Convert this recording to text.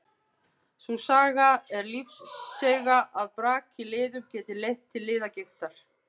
Sú saga er lífseiga að brak í liðum geti leitt til liðagigtar.